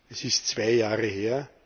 Das ist zwei Jahre her.